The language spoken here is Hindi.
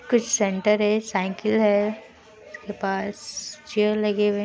कुछ सेंटर है साइकिल है। उसके पास चेयर लगे हुए हैं।